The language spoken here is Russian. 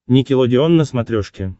никелодеон на смотрешке